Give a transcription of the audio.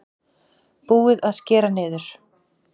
Búið að skera niður